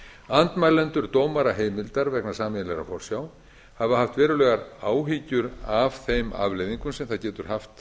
í andmælendur dómaraheimildar vegna sameiginlegrar forsjár hafa haft verulegar áhyggjur af þeim afleiðingum sem það getur haft